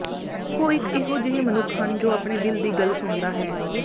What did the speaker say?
ਉਹ ਇੱਕ ਇਹੋ ਜਿਹੇ ਮਨੁੱਖ ਹਨ ਜੋ ਆਪਣੇ ਦਿਲ ਦੀ ਗੱਲ ਸੁਣਦਾ ਹੈ